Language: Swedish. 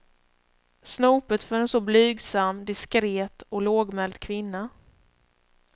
Snopet för en så blygsam, diskret och lågmäld kvinna.